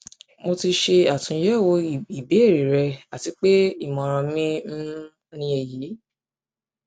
mo ti ṣe atunyẹwo ibeere rẹ ati pe imọran mi mi um ni eyi